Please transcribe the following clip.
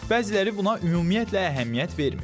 Bəziləri buna ümumiyyətlə əhəmiyyət vermir.